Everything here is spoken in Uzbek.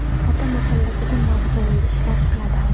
Ota mahallasida mavsumiy ishlar qiladi.